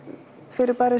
fyrirbæri